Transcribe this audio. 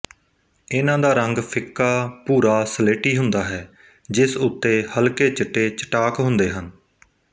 ਇਨ੍ਹਾਂ ਦਾ ਰੰਗ ਫਿੱਕਾ ਭੂਰਾਸਲੇਟੀ ਹੁੰਦਾ ਹੈ ਜਿਸ ਉੱਤੇ ਹਲਕੇ ਚਿੱਟੇ ਚਟਾਕ ਹੁੰਦੇ ਹਨ